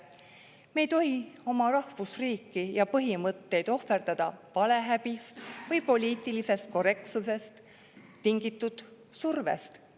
Me ei tohi oma rahvusriiki ja põhimõtteid ohverdada valehäbist või poliitilisest korrektsusest tingitud survest.